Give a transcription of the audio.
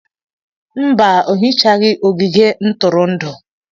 Mba, o hichaghị ogige ntụrụndụ.